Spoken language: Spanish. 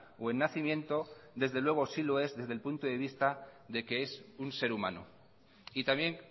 o en nacimiento desde luego sí lo es desde el punto de vista de que es un ser humano y también